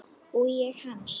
Og ég hans.